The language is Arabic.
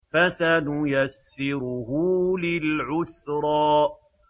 فَسَنُيَسِّرُهُ لِلْعُسْرَىٰ